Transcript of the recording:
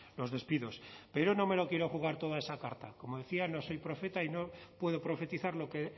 los despidos pero no me lo quiero jugar todo a esa carta como decía no soy profeta y no puedo profetizar lo que